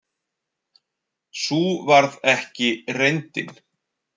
Sú varð ekki reyndin.